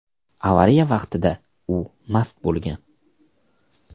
Avariya vaqtida u mast bo‘lgan.